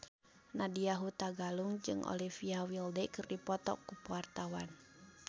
Nadya Hutagalung jeung Olivia Wilde keur dipoto ku wartawan